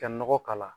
Ka nɔgɔ k'a la